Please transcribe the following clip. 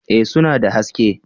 Eh suna da haske